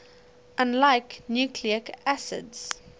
unlike nucleic acids